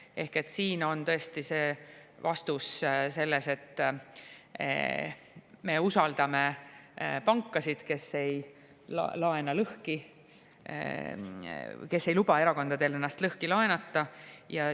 Ehk et siin on tõesti vastus selline, et me usaldame pankasid, et nad ei laena lõhki, et nad ei luba erakondadel ennast lõhki laenata.